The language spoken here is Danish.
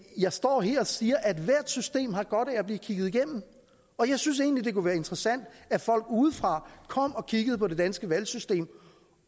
jeg står her og siger at hvert system har godt af at blive kigget igennem og jeg synes egentlig det kunne være interessant at folk udefra kom og kiggede på det danske valgsystem